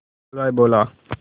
हलवाई बोला